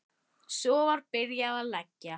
Svo var byrjað að leggja.